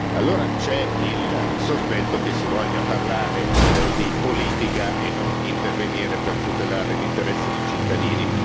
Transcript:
Allora c'è il sospetto che si voglia parlare di politica e non intervenire per tutelare l'interesse dei cittadini.